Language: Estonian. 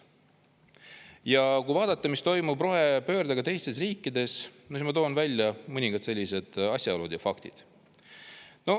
Ja kui vaadata, mis toimub rohepöördega teistes riikides, siis ma toon välja mõningad sellised asjaolud ja faktid.